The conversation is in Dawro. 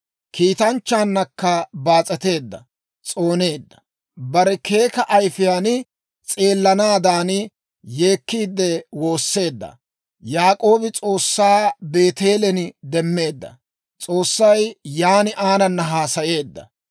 kiitanchchaannakka baas'eteedda s'ooneedda. Barena keeka ayifiyaan s'eelanaadan, yeekkiide woosseedda. Yaak'oobi S'oossaa Beeteelen demmeedda; S'oossay yan aanana haasayeedda.